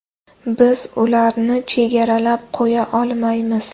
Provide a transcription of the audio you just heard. Biz ularni chegaralab qo‘ya olmaymiz.